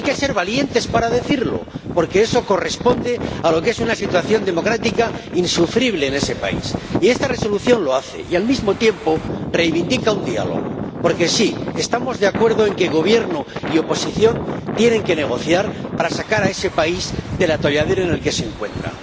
Hay que ser valientes para decirlo, porque eso corresponde a lo que es una situación democrática insufrible en ese país. Y esta Resolución lo hace y, al mismo tiempo, reivindica un diálogo. Porque, sí, estamos de acuerdo en que Gobierno y oposición tienen que negociar para sacar a ese país del atolladero en el que se encuentra.